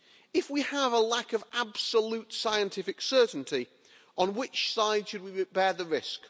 If we have a lack of absolute scientific certainty, on which side should we bear the risk?